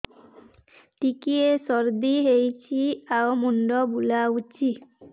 ଟିକିଏ ସର୍ଦ୍ଦି ହେଇଚି ଆଉ ମୁଣ୍ଡ ବୁଲାଉଛି